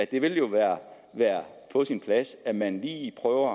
det vil jo være på sin plads at man lige prøver